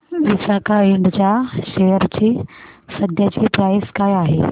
विसाका इंड च्या शेअर ची सध्याची प्राइस काय आहे